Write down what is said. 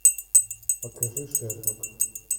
покажи шерлок